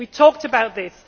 We talked about this.